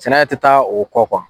Sɛnɛ tɛ taa o kɔ kuwa.